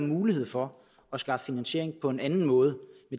mulighed for at skaffe finansiering på en anden måde